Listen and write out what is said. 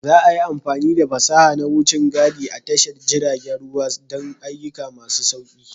Za a yi amfani da fasaha na wucin gadi a tashar jiragen ruwa don ayyuka masu sauƙi.